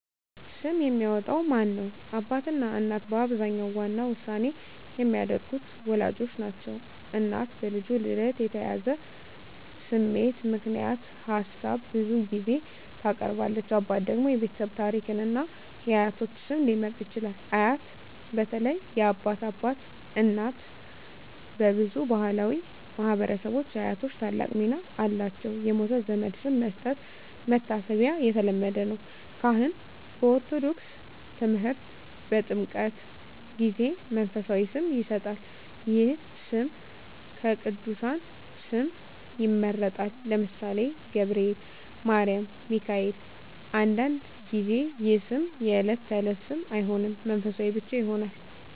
ስም የሚያወጣው ማን ነው? አባትና እናት በአብዛኛው ዋና ውሳኔ የሚያደርጉት ወላጆች ናቸው። እናት በልጁ ልደት የተያያዘ ስሜት ምክንያት ሀሳብ ብዙ ጊዜ ታቀርባለች። አባት ደግሞ የቤተሰብ ታሪክን እና የአያቶች ስም ሊመርጥ ይችላል። አያት (በተለይ የአባት አባት/እናት) በብዙ ባሕላዊ ማኅበረሰቦች አያቶች ታላቅ ሚና አላቸው። የሞተ ዘመድ ስም መስጠት (መታሰቢያ) የተለመደ ነው። ካህን (በኦርቶዶክስ ተምህርት) በጥምቀት ጊዜ መንፈሳዊ ስም ይሰጣል። ይህ ስም ከቅዱሳን ስም ይመረጣል (ለምሳሌ፦ ገብርኤል፣ ማርያም፣ ሚካኤል)። አንዳንድ ጊዜ ይህ ስም የዕለት ተዕለት ስም አይሆንም፣ መንፈሳዊ ብቻ ይሆናል።